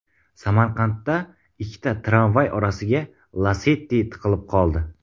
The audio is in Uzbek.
Samarqandda ikkita tramvay orasiga Lacetti tiqilib qoldi .